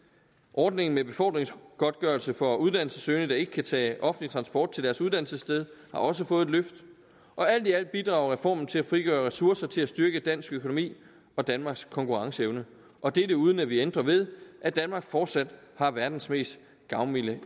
ordningen med befordringsgodtgørelse for uddannelsessøgende der ikke kan tage offentlig transport til deres uddannelsessted har også fået et løft og alt i alt bidrager reformen til at frigøre ressourcer til at styrke dansk økonomi og danmarks konkurrenceevne og dette uden at vi ændrer ved at danmark fortsat har verdens mest gavmilde